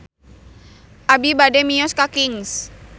Abi bade mios ka Kings